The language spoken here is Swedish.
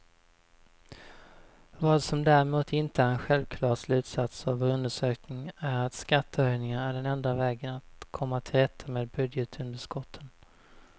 Vad som däremot inte är en självklar slutsats av vår undersökning är att skattehöjningar är den enda vägen att komma till rätta med budgetunderskotten.